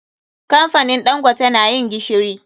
Kamfanin ɗangote na yin gishiri.